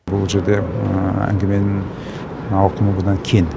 бұл жерде әңгіменің ауқымы бұдан кең